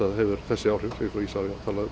það hefur þessi áhrif sem Isavia talaði